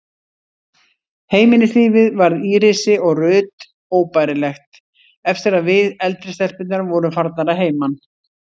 Heimilislífið varð Írisi og Ruth óbærilegt eftir að við, eldri stelpurnar, vorum farnar að heiman.